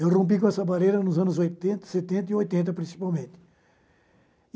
Eu rompi com essa barreira nos anos oitenta setenta e oitenta, principalmente.